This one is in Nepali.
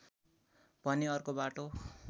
भने अर्को बाटो